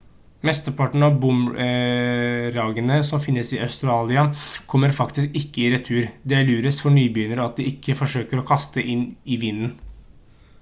mesteparten av boomerangene som finnes i australia kommer faktisk ikke i retur det er lurest for nybegynnere at de ikke forsøker å kaste inn i vinden